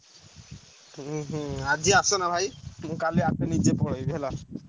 ଉଁ ହୁଁ ଆଜି ଆସନା ଭାଇ ଉଁ କାଲି ଆପେ ନିଜେ ପଳେଇବି ହେଲା।